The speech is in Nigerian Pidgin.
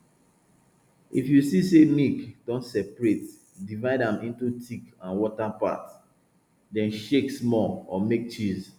if you see say milk don separate divide am into thick and water part then shake small or make cheese